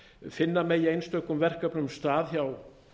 finna megi einstökum verkefnum stað hjá